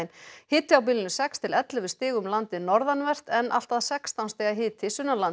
hiti á bilinu sex til ellefu stig um landið norðanvert en allt að sextán stiga hiti